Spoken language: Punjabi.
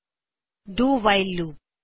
do while loop do while loop